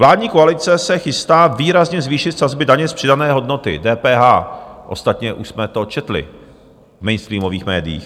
Vládní koalice se chystá výrazně zvýšit sazby daně z přidané hodnoty, DPH, ostatně už jsme to četli v mainstreamových médiích.